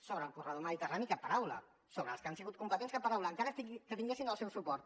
sobre el corredor mediterrani cap paraula sobre els que han sigut competents cap paraula encara que tinguessin el seu suport